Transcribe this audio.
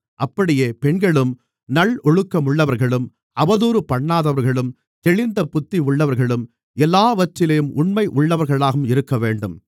அப்படியே பெண்களும் நல்லொழுக்கமுள்ளவர்களும் அவதூறுபண்ணாதவர்களும் தெளிந்த புத்தியுள்ளவர்களும் எல்லாவற்றிலும் உண்மையுள்ளவர்களாகவும் இருக்கவேண்டும்